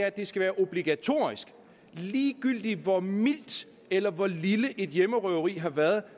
at det skal være obligatorisk ligegyldigt hvor mildt eller hvor lille et hjemmerøveri har været